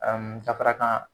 Ɛɛ ka fara k'an